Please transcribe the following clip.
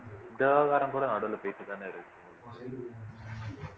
இந்த விவகாரம் பூரா நடுவுல பேசிட்டுதானே இருக்கு